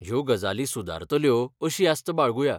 ह्यो गजाली सुदारतल्यो अशी आस्त बाळगुया.